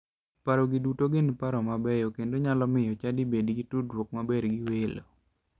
Paro gi duto gin paro mabeyo kendo nyalo miyo chadi bed gi tudruok maber gi welo.